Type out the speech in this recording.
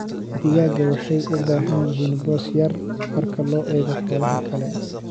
Digaagga waxay u baahan yihiin boos yar marka loo eego xoolaha kale.